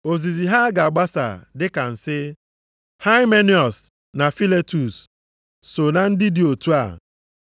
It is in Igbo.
Ozizi ha ga-agbasa dị ka nsị, Haimeniọs na Filetus soo na ndị dị otu a.